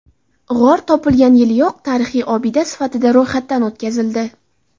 G‘or topilgan yiliyoq tarixiy obida sifatida ro‘yxatdan o‘tkazildi.